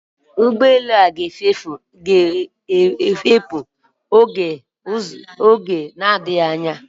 Ụgbọelu a ga-efepù n'oge na-adịghị anya